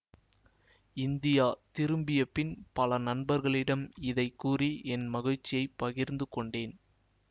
India திரும்பிய பின் பல நண்பர்களிடம் இதை கூறி என் மகிழ்ச்சியைப் பகிர்த்து கொண்டேன்